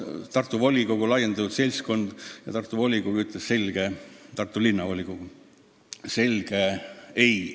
Tartu laiem seltskond ja Tartu Linnavolikogu ütles selge ei.